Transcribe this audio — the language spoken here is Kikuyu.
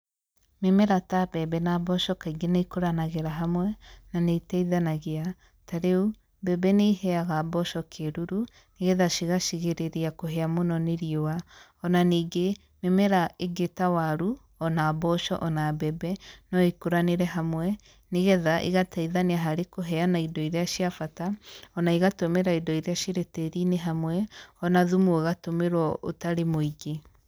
Mĩmera ta mbembe na mboco kaingĩ nĩikũranagĩra hamwe, na nĩitaithanagia, tarĩu mbembe nĩiheaga mboco kĩruru, nĩtha cigacigirĩrĩria kũhĩa mũno nĩ riũa. Ona ningĩ, mĩmera ĩngĩ ta waru, ona mboco ona mbembe, noĩkũranĩre hamwe, nĩgetha ĩgataithania harĩ kũheana indo iria ciabata, ona ĩgatũmĩra indo iria cirĩ tĩri-inĩ hamwe, ona thumu ũgatũmĩrwo ũtarĩ mũingĩ.